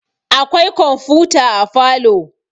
akwai komfuta a falo